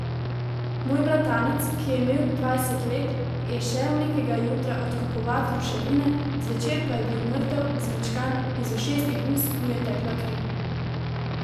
Moj bratranec, ki je imel dvajset let, je šel nekega jutra odkopavat ruševine, zvečer pa je bil mrtev, zmečkan, iz ušes in ust mu je tekla kri.